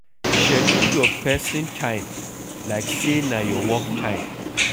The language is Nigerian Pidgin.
Schedule your person time like sey na your work time